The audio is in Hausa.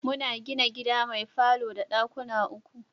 Muna gina gida mai falo da ɗakuna uku.